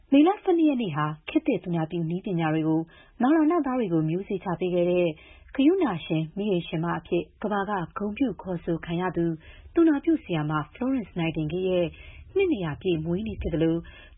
မေလ ၁၂ ရက်နေ့ဟာ ခေတ်သစ် သူနာပြုနည်းပညာတွေကို နောင်လာနောင်သားတွေအတွက် မျိုးစေ့ချ ပေးခဲ့တဲ့ ဂရုဏာရှင် မီးအိမ်ရှင်မအဖြစ် ကမ္ဘာက ဂုဏ်ပြု ခေါ်ဆိုခံရသူ သူနာပြုဆရာမ Florence Nightingale ရဲ့ နှစ် ၂၀၀ ပြည့်မွေးနေ့ ဖြစ်သလို၊